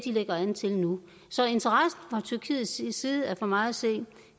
lægger an til nu så interessen fra tyrkiets side er for mig at se